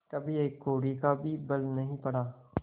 कभी एक कौड़ी का भी बल नहीं पड़ा